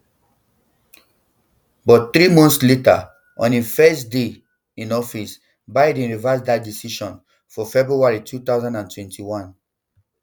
but three months later on im first day in office biden reverse dat decision for february um two thousand and twenty-one